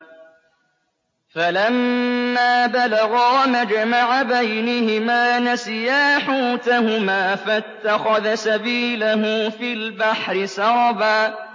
فَلَمَّا بَلَغَا مَجْمَعَ بَيْنِهِمَا نَسِيَا حُوتَهُمَا فَاتَّخَذَ سَبِيلَهُ فِي الْبَحْرِ سَرَبًا